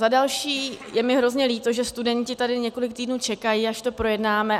Za další je mi hrozně líto, že studenti tady několik týdnů čekají, až to projednáme.